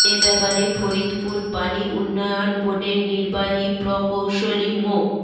এ ব্যাপারে ফরিদপুর পানি উন্নয়ন বোর্ডের নির্বাহী প্রকৌশলী মো